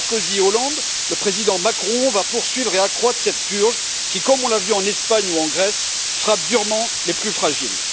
Sarkozy et Hollande, le président Macron va poursuivre et accroître cette purge qui, comme on l'a vu en Espagne ou en Grèce, frappe durement les plus fragiles.